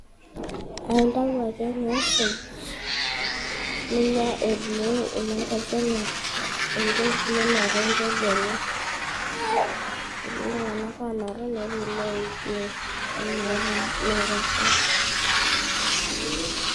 Aintayu ake niisuj, ninya etii Enye embeku enye ninotu embeko enye, etii iltung'ana oonotu netii iloijoo. Amu meata .